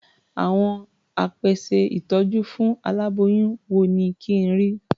Àwọn apèsè ìtọ́jú fún aláboyún wo ni kí n rí?